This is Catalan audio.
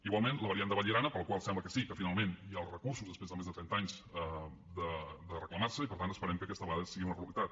igualment la variant de vallirana per la qual sembla que sí que finalment hi ha els recursos després de més de trenta anys de reclamar se i per tant esperem que aquesta vegada sigui una realitat